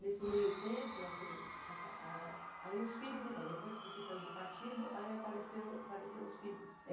Nesse meio tempo, assim, aí os filhos, então, depois que você saiu do partido, aí apareceram os filhos?